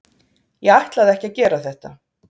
ég ætlaði ekki að gera þetta